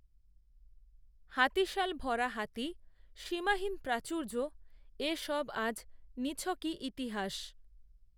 হাতিশাল ভরা হাতিসীমাহীন প্রাচূর্যএ সবআজ নিছকই ইতিহাস